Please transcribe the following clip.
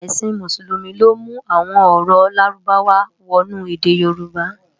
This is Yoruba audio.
Èsin Músùlúmi ló mú awòn òrò lárúbáwá wònú èdè yorùbá